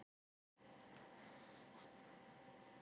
Hún á margar vinkonur sem eru fínar konur eins og hún.